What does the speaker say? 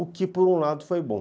O que, por um lado, foi bom.